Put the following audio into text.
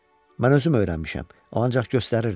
Mən özüm öyrənmişəm, o ancaq göstərirdi.